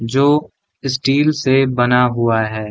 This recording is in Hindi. जो स्टील से बना हुआ है।